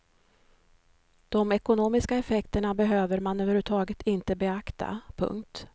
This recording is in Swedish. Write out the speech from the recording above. De ekonomiska effekterna behöver man över huvud taget inte beakta. punkt